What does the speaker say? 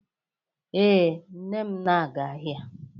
Ee, nne m na-aga ahia